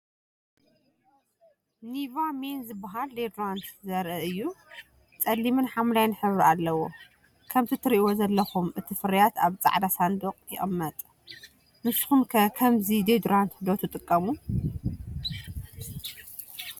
NIVEA MEN ዝበሃል ዲዮዶራንት ዘርኢ እዩ። ጸሊምን ሐምላይን ሕብሪ ኣለዎ። ከምቲ ትርእይዎ ዘለኹም እቲ ፍርያት ኣብ ጻዕዳ ሳንዱቕ ይቕመጥ። ንስኹም ከ ከምዚ ዲዮዶራንት ዶ ትጥቀሙ?